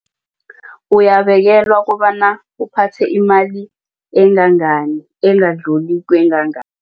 Uyabekelwa kobana uphathe imali engangani engadluli